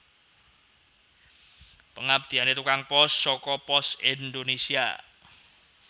Pengabdiane tukang pos soko Pos Indonesia